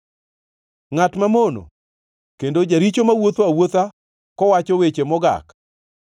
Ngʼat mamono kendo jaricho mawuotho awuotha kowacho weche mogak,